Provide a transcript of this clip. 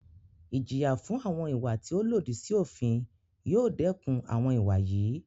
Ìjìyà fún àwọn ìwà tí o lòdì sí òfin yóò dẹkùn àwọn ìwà yìí.